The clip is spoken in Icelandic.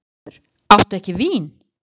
SIGURÐUR: Áttu ekki vín?